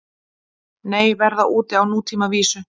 Nei, verða úti á nútímavísu